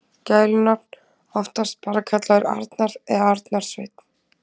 Gælunafn: Oftast bara kallaður Arnar eða Arnar Sveinn.